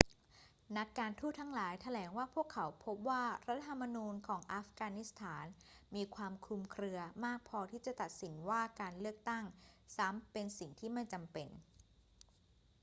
นักการทูตทั้งหลายแถลงว่าพวกเขาพบว่ารัฐธรรมนูญของอัฟกานิสถานมีความคลุมเครือมากพอที่จะตัดสินว่าการเลือกตั้งซ้ำเป็นสิ่งที่ไม่จำเป็น